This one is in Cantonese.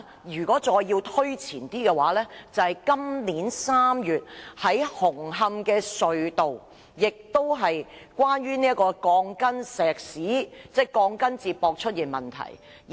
如果再要推前一點，就是今年3月紅磡隧道出現的鋼筋接駁問題。